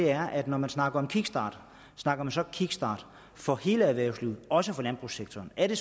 er at når man snakker om kickstart snakker man så kickstart for hele erhvervslivet også for landbrugssektoren er det